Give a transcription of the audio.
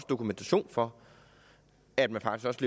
dokumentation for at man faktisk